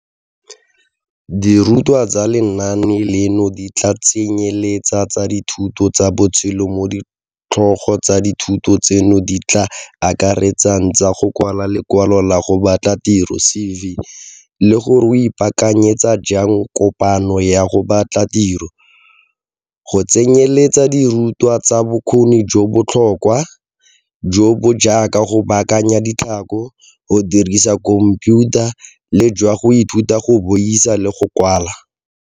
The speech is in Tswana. Dirutwa tsa lenaane leno di tla tsenyeletsa tsa dithuto tsa botshelo mo ditlhogo tsa dithuto tseno di tla akaretsang tsa go kwala lekwalo la go batla tiro CV le gore o ipaakanyetsa jang kopano ya go batla tiro, go tsenyeletsa le dirutwa tsa bokgoni jo bo botlhokwa, jo bo jaaka go baakanya ditlhako, go dirisa khomphiutha le jwa go ithuta go buisa le go kwala.